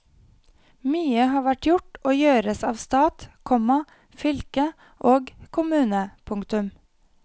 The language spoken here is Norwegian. Mye har vært gjort og gjøres av stat, komma fylke og kommune. punktum